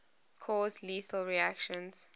cause lethal reactions